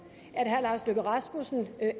at herre lars løkke rasmussen